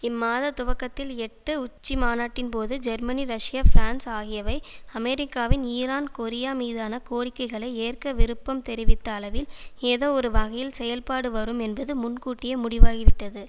இம் மாதத் துவக்கத்தில் எட்டு உச்சிமாநாட்டின்போது ஜெர்மனி ரஷ்யா பிரான்ஸ் ஆகியவை அமெரிக்காவின் ஈரான் கொரியா மீதான கோரிக்கைகளை ஏற்க விருப்பம் தெரிவித்த அளவில் ஏதோ ஒரு வகையில் செயல்பாடு வரும் என்பது முன்கூட்டியே முடிவாகிவிட்டது